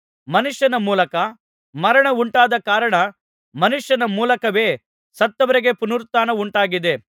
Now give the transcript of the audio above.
ಮನುಷ್ಯನ ಮೂಲಕ ಮರಣ ಉಂಟಾದ ಕಾರಣ ಮನುಷ್ಯನ ಮೂಲಕವೇ ಸತ್ತವರಿಗೆ ಪುನರುತ್ಥಾನವುಂಟಾಗಿದೆ